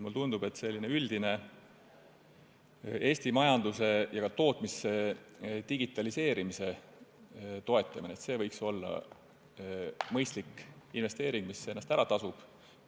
Mulle tundub, et selline üldine Eesti majanduse ja ka tootmise digitaliseerimise toetamine võiks olla mõistlik investeering, mis ennast ära tasub.